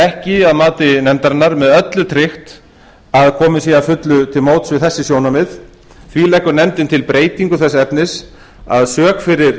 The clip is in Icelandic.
ekki að mati nefndarinnar með öllu tryggt að komið sé að fullu til móts við þessi sjónarmið því leggur nefndin til breytingu þess efnis að sök fyrir